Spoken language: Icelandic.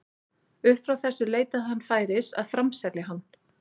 Upp frá þessu leitaði hann færis að framselja hann.